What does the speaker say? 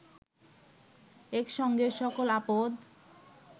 একসঙ্গে সকল আপদ